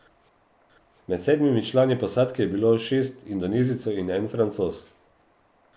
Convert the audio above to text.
Med sedmimi člani posadke je bilo šest indonezijcev in en Francoz.